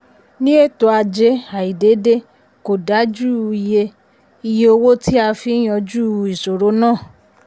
ní ètò ajé àìdédé kò dájú iye iye owó tí a fi ń yanjú ìṣòro náà.